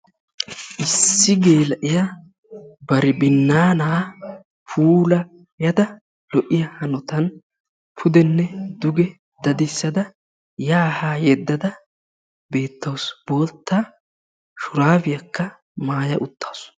Issi geela"iyaa bari binnaana puulayada lo"iyaa hanotan pudenne duge dadissada yaa haa yeddada bettawus. Bootta shuraabiyaakka maaya uttaasu.